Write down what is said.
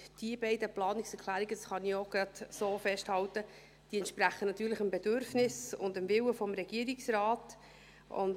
Diese beiden Planungserklärungen, das kann ich auch gleich so festhalten, entsprechen natürlich dem Bedürfnis und dem Willen des Regierungsrates.